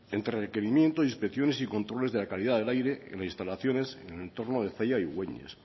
entre requerimiento inspecciones y controles de la calidad del aire en las instalaciones en el entorno de zalla y güeñes